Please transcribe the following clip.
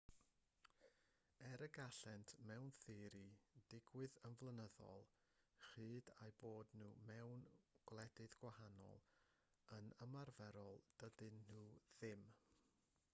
er y gallent mewn theori ddigwydd yn flynyddol cyhyd â'u bod nhw mewn gwledydd gwahanol yn ymarferol dydyn nhw ddim